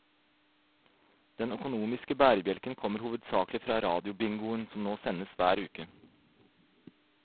Den økonomiske bærebjelken kommer hovedsaklig fra radiobingoen, som nå sendes hver uke.